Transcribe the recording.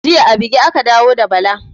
Jiya a buge aka dawo da Bala